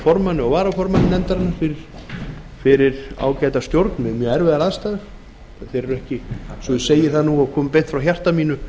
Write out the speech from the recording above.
formanni og varaformanni nefndarinnar fyrir ágæta stjórn við mjög erfiðar aðstæður þeir eru ekki svo ég segi það nú og það komi beint frá hjarta mínu